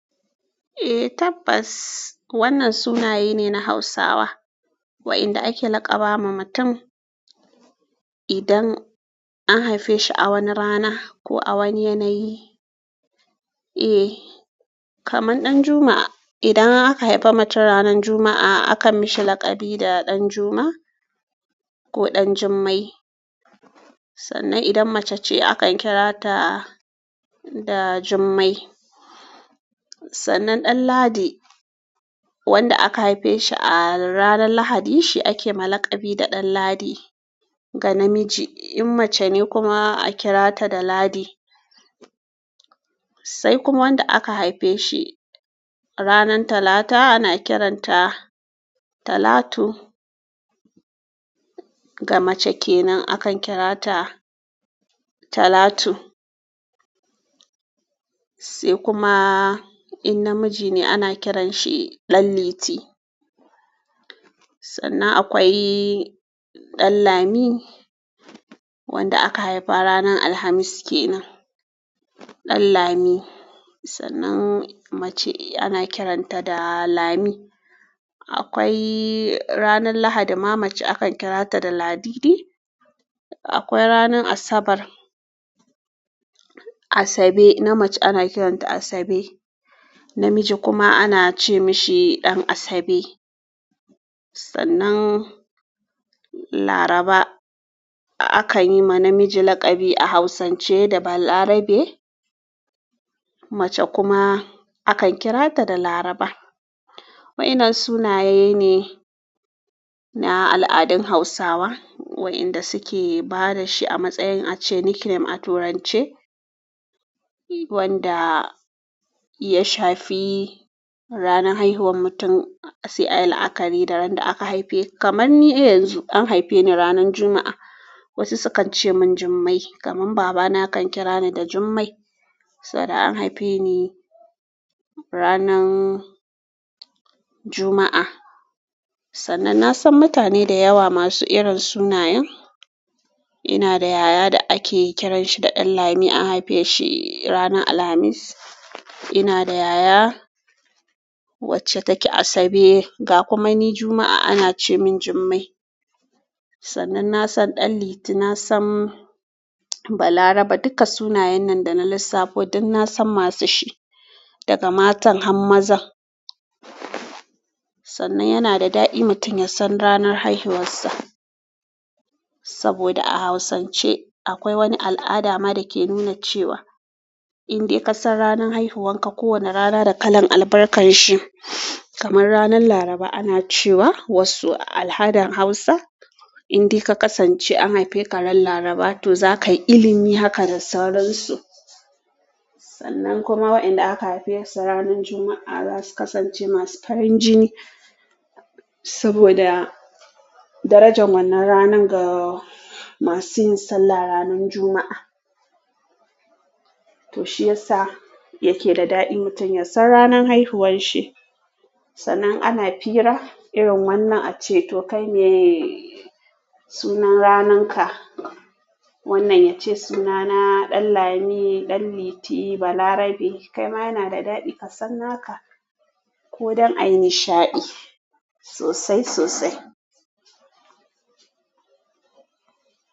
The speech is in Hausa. Eh tabbas wannan sunaye ne na hausawa wa'inda ake laƙaba wa mutum idan an haife shi a wani rana ko a wani yanayi. Eh kaman Ɗanjuma idan aka haife mutum ranan Juma'a akan mishi laƙabi da Ɗanjuma ko Ɗanjummai. Sannan idan mace ce akan kira ta da Jummai. Sannan Ɗanladi wanda aka haife shi a ranan Lahadi shi ake ma laƙabi da Ɗanladi ga namiji in mace ne kuma aka kira ta da Ladi. Sai kuma wanda aka haife shi ranan Talata ana kiranta Talatu ga mace kenan akan kira ta Talatu. Sai kuma in namiji ne ana kiran shi Ɗanliti. Sannan akwai Ɗanlami wanda aka haifa ranan Alhamis kenan. Ɗanlami sannan mace ana kiranta da Lami. Akwai ranan Lahadi ma mace akan kira ta da Ladidi. Akwai ranan Asabar, Asabe na mace ana kiranta Asabe. Namiji kuma ana ce mashi Ɗan'asabe. Sannan Laraba akan yi ma namiji laƙabi a Hausance da Balarabe. Mace kuma akan kira ta da Laraba. Wa'innan sunaye ne na al'adun Hausawa wa'inda suke ba da shi a matsayin ace nickname a turance wanda ya shafi ranan haihuwar mutum. Si a yi la'akari da ran da aka haife. Kaman ni yanzu an haife ni ranan Juma'a wasu su kan ce mun Jummai. Kaman baba na kan kira ni da Jummai saboda an haife ni ranan Juma'a. Sannan na san mutane da yawa masu irin sunayen. Ina da yaya da ake kiran shi da Ɗanlami an haife shi ranan Alhamis. Ina da yaya wacce take Asabe ga kuma ni Juma'a ana ce mun Jummai. Sannan na san Ɗanliti na san Balarabe duka sunayen nan da na lissafo duk na san masu shi daga matan ham mazan. Sannan yanada daɗi mutum yasan ranan haihuwar sa saboda a Hausance akwai wani al'ada ma dake nuna cewa in dai ka san ranan haihuwan ka kowane rana da kalan albarkan shi. Kaman ranan Laraba ana cewa wasu a al'adan Hausa in dai ka kasance an haife ka ran Laraba to zaka yi ilimi haka da sauransu. Sannan kuma wa'inda aka haife su ranan Juma'a zasu kasance masu farin jini saboda darajan wannan ranan ga masu yin sallah ran Juma'a. To shiyasa yake da daɗi mutum ya san ranan haihuwan shi. Sannan ana fira irin wannan ace to kai me sunan ranan ka. Wannan ya ce sunana Ɗanlami, Ɗanliti, Balarabe kai ma yana da daɗi ka san naka ko don a yi nishaɗi sosai sosai.